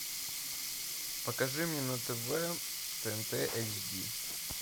покажи мне на тв тнт эйч ди